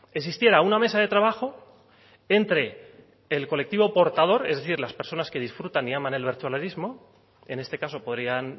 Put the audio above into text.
existiera una mesa de trabajo entre el colectivo portador es decir las personas que disfrutan y aman el bertsolarismo en este caso podrían